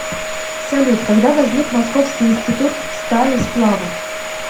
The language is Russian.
салют когда возник московский институт стали и сплавов